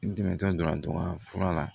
N dɛmɛtɔra donna fura la